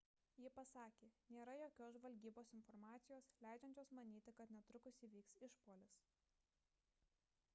ji pasakė nėra jokios žvalgybos informacijos leidžiančios manyti kad netrukus įvyks išpuolis